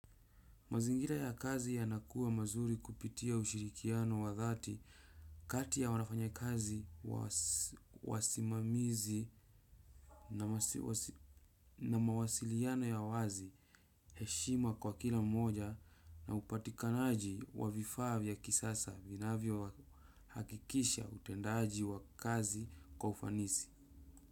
Mazingira ya kazi ya nakuwa mazuri kupitia ushirikiano wa dhati kati ya wanafanya kazi wasimamizi na mawasiliano ya wazi heshima kwa kila mmoja na upatikanaji wa vifaa vya kisasa vinavyo hakikisha utendaji wa kazi kwaufanisi.